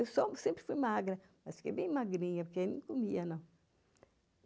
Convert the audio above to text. Eu sempre fui magra, mas fiquei bem magrinha, porque aí não comia, não.